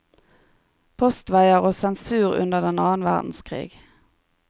Postveier og sensur under den annen verdenskrig.